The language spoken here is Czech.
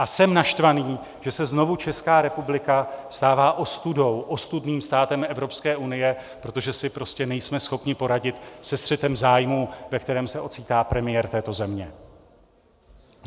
A jsem naštvaný, že se znovu Česká republika stává ostudou, ostudným státem Evropské unie, protože si prostě nejsme schopni poradit se střetem zájmů, ve kterém se ocitá premiér této země.